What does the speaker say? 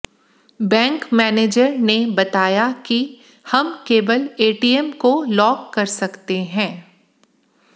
bank manager बताया कि हम केवल एटीएम को लॉक कर सकते है